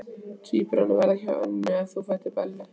Tvíburarnir verða hjá Önnu og þú ferð til Bellu.